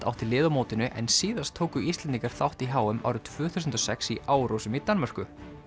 átti lið á mótinu en síðast tóku Íslendingar þátt í h m árið tvö þúsund og sex í Árósum í Danmörku